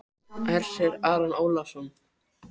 Jón Örn Guðbjartsson: Var hrópað um borð?